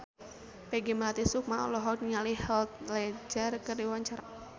Peggy Melati Sukma olohok ningali Heath Ledger keur diwawancara